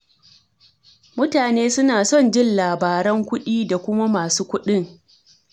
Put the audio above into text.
Mutane suna son jin labaran kuɗi, da kuma masu kuɗin.